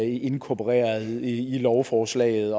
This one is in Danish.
inkorporeret i lovforslaget